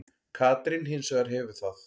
Katrín hins vegar hefur það.